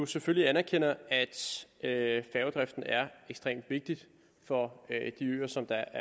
selvfølgelig anerkender at færgedriften er ekstremt vigtig for de øer som der